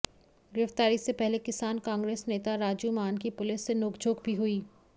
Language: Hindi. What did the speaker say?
गिरफ्तारी से पहले किसान कांग्रेस नेता राजू मान की पुलिस से नोकझोंक भी हुई